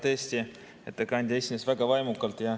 Tõesti, ettekandja esines väga vaimukalt.